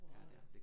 Nåh ja